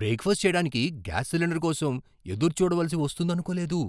Breakfast చేయడానికి gas cylinder కోసం ఎదురుచూడవలసి వస్తుందనుకోలేదు!